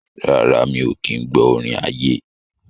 Rárá, mi ò kí ń gbọ́ orin ayé.